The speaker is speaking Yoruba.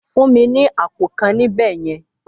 Fún mi ní àpò kan níbẹ̀ yẹn!